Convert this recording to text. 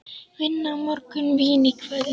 Vinna á morgun, vín í kvöld.